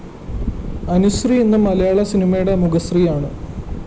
അനുശ്രീ ഇന്ന് മലയാള സിനിമയുടെ മുഖശ്രീയാണ്